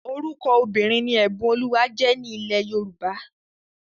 Orúkọ obìnrin ni Ẹ̀bùnolúwa jẹ́ ní ilẹ̀ Yorùbá